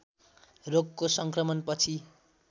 रोगको सङ्क्रमण पछि